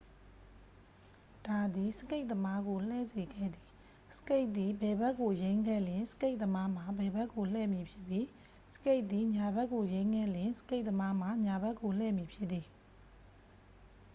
ဒါသည် စကိတ်သမားကို လှည့်စေခဲ့သည် စကိတ်သည် ဘယ်ဘက်ကို ယိမ်းခဲ့လျှင် စကိတ်သမားမှာ ဘယ်ဘက်ကို လှည့်မည်ဖြစ်ပြီး စကိတ်သည် ညာဘက်ကိုယိမ်းခဲ့လျှင် စကိတ်သမားမှာ ညာဘက်ကိုလည့်မည်ဖြစ်သည်